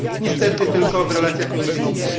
Niestety tylko w relacjach między nimi.